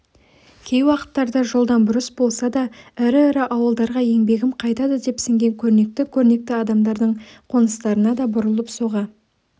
кей уақыттарда жолдан бұрыс болса да ірі-ірі ауылдарға еңбегім қайтады деп сенген көрнекті-көрнекті адамдардың қоныстарына да бұрылып соға